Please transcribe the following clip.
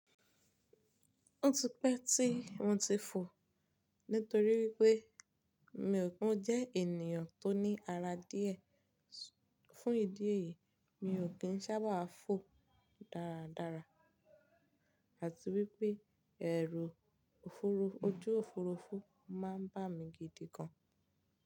Ó ti pẹ́ tí mo ti fò nítorí wípé mi ò, mi jẹ́ ènìyàn tó ní ara díẹ̀. Fún ìdí èyí, mi ò kí ń sábà fò dáradára àti wípé ẹ̀rù ofurufu, ojú òfurufú máa ń bà mí gidi gan.